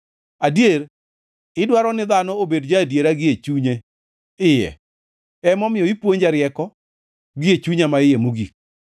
Adier, idwaro ni dhano obed ja-adiera gie chunye iye emomiyo ipuonja rieko gie chunya maiye mogik.